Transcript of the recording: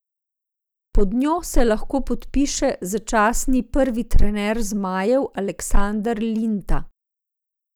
Pod njo se lahko podpiše začasni prvi trener zmajev Aleksandar Linta.